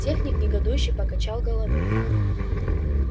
техник негодующе покачал головой